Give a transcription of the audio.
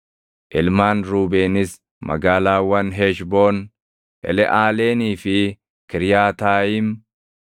Ilmaan Ruubeenis magaalaawwan Heshboon, Eleʼaaleenii fi Kiriyaataayim,